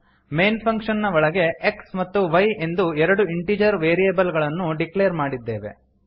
main function ನ ಒಳಗೆ x ಮತ್ತು y ಎಂದು ಎರಡು ಇಂಟಿಜರ್ ವೇರಿಯೇಬಲ್ ಗಳನ್ನು ಡಿಕ್ಲೇರ್ ಮಾಡಿದ್ದೇವೆ